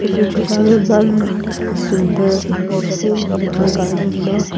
etu jugal eman sunder peace ful hendend garden tu